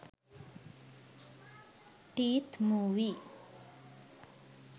teeth movie